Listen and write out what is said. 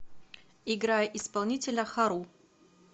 играй исполнителя хару